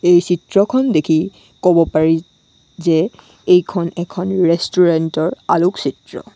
এই চিত্ৰখন দেখি কব পাৰি যে এইখন এখন ৰেষ্টোৰেন্ট ৰ আলোকচিত্ৰ।